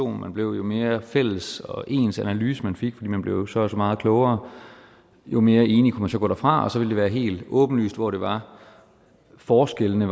man blev jo mere fælles og ens analyse man fik fordi man blev så og så meget klogere jo mere enige man så gå derfra så ville det være helt åbenlyst hvor det var forskellene